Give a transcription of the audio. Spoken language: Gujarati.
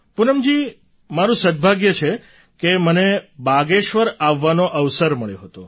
પૂનમજી મારું સદ્ભાગ્ય છે કે મને બાગેશ્વર આવવાનો અવસર મળ્યો હતો